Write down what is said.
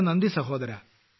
വളരെ നന്ദി സഹോദരാ